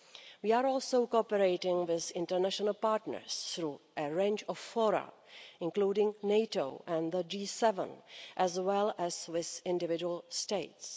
We are also cooperating with international partners through a range of forums, including NATO and the G7, as well as with individual states.